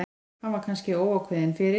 Hann var kannski óákveðinn fyrir.